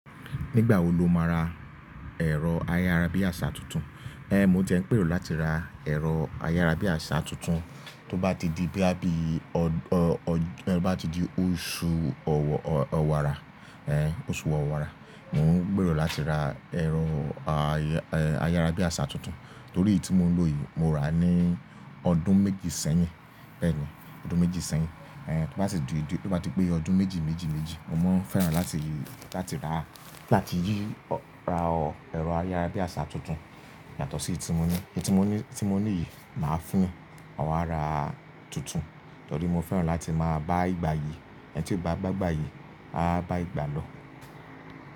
Nígbà wo lo máa ra ẹ̀rọ ayárabíàṣá tuntun? Ehn, mo ti eń gbèrò láti ra ẹ̀rọ ayárabíàṣá tuntun, tó bá ti di bíi á bí, tó bá ti di oṣù ọ̀wàrà, eh oṣù ọ̀wàrà. Mo ń gbèrò láti ra ẹ̀rọ ayárabíàṣá tuntun, torí èyí tí mo ń lò yìí mo rà á ní ọdún méjì sẹ́yìn. Bẹ́ẹ̀ ni, ọdún méjì sẹ́yìn. Eh tó bá sì di, tó bá ti pé ọdún méjì méjì méjì, mo máa fẹ́ràn láti, láti rà láti yí ra ẹ̀rọ ayárabíàṣá tuntun. Yàtọ̀ sí èyí tí mo ní, èyí tí mo ní, tí mo ní yìí, màá fún un ọ̀wàrà tuntun. Torí mo fẹ́ràn láti máa bá ìgbà yìí, ẹni tí ó bá gbà ìgbà yìí, á bá ìgbà lọ.